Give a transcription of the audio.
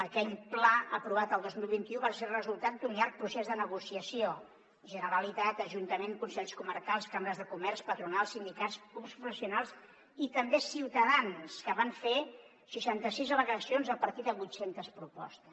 aquell pla aprovat el dos mil vint u va ser el resultat d’un llarg procés de negociació generalitat ajuntament consells comarcals cambres de comerç patronals sindicats clubs professionals i també ciutadans que van fer seixanta sis al·legacions a partir de vuit centes propostes